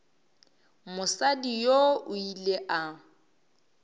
mosadi yoo o ile a